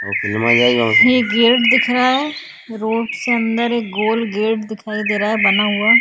यह गेट दिख रहा है। रोड से अंदर एक गोल गेट दिखाई दे रहा है बना हुआ।